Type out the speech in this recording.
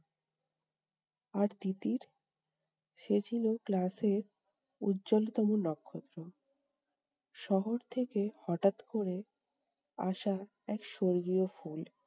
আর তিতির! সে ছিল ক্লাসের উজ্জলতম নক্ষত্র। শহর থেকে হঠাৎ করে আসা এক স্বর্গীয় ফুল